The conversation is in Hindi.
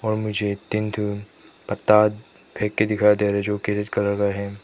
और मुझे फेंकते दिखाई दे रहे जोकि कलर का है।